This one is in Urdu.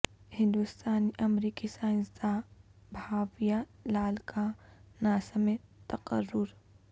ہندوستانی امریکی سائنسداں بھاویا لال کا ناسا میں تقرر